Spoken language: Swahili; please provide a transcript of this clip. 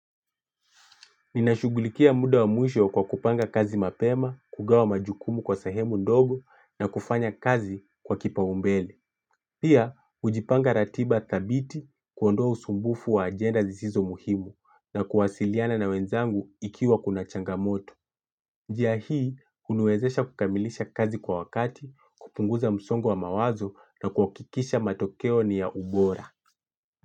Ninashughulikia muda wa mwisho kwa kupanga kazi mapema, kugawa majukumu kwa sehemu ndogo na kufanya kazi kwa kipaombele. Pia, hujipanga ratiba dhabiti kuondoa usumbufu wa agenda zisizo muhimu na kuwasiliana na wenzangu ikiwa kuna changamoto. Njia hii huniwezesha kukamilisha kazi kwa wakati, kupunguza msongo wa mawazo na kuhakikisha matokeo ni ya ubora.